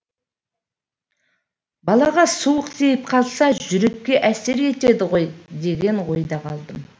балаға суық тиіп қалса жүрекке әсер етеді ғой деген ойда қалдым